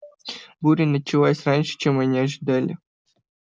буря началась раньше чем они ожидали